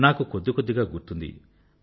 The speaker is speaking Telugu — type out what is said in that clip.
నాకు కొద్ది కొద్దిగా గుర్తుంది